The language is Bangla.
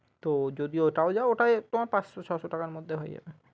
তো যদি ওটাও যাও ওটা তোমার পাঁচশো ছয়শো টাকার মধ্যে হয়ে যাবে।